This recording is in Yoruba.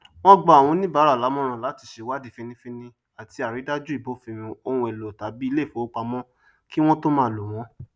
wọn gba awọn oníbárà lámọràn latí sèwádí fínnínfínní àtí àrídájú ìbófinmu ohunèlò tàbí iléìfowópamọ kí wọn tó máa lò wọn